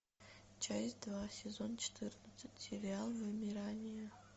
часть два сезон четырнадцать сериал вымирание